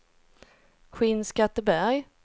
Skinnskatteberg